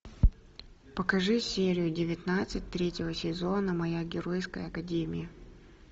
покажи серию девятнадцать третьего сезона моя геройская академия